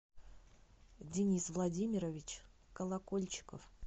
денис владимирович колокольчиков